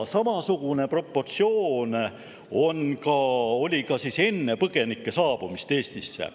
Samasugune proportsioon oli ka enne põgenike saabumist Eestisse.